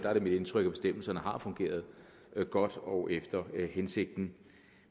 er mit indtryk at bestemmelserne har fungeret godt og efter hensigten